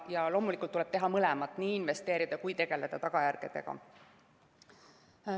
Ja loomulikult tuleb teha mõlemat: nii investeerida kui ka tegeleda tagajärgedega.